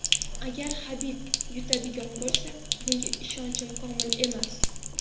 Agar Habib yutadigan bo‘lsa, bunga ishonchim komil emas.